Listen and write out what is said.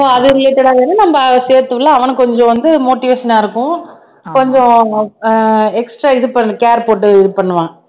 so அது related ஆ நம்ம சேர்த்துவிடலாம் அவனும் கொஞ்சம் வந்து motivation ஆ இருக்கும் கொஞ்சம் ஆஹ் extra இது பண்ணு care போட்டு இது பண்ணுவான்